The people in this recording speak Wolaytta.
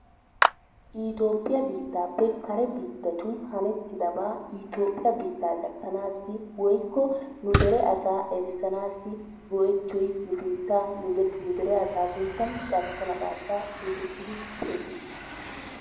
itoophphiya biittaappe kare biittatun hanettidabaa itoophphiya biittaa gattanaassi woykko nu dere asaa erissanaassi go'ettiyoy nu keettaa nu dere asaa sunttan carkko naqaashaa getettidi xeessettees.